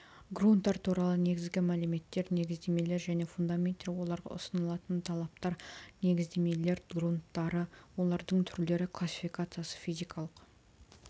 грунттар туралы негізгі мәліметтер негіздемелер және фундаменттер оларға ұсынылатын талаптар негіздемелер грунттары олардың түрлері классификациясы физикалық